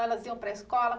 Que elas iam para a escola?